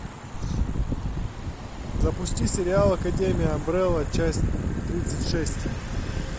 запусти сериал академия амбрелла часть тридцать шесть